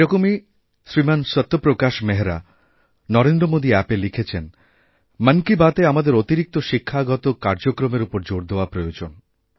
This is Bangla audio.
এরকমই শ্রীমানসত্যপ্রকাশ মেহরা নরেন্দ্র মোদী অ্যাপএ লিখেছেন মন কি বাতএ আমাদের অতিরিক্তশিক্ষাগত কার্যক্রমের ওপর জোর দেওয়া প্রয়োজন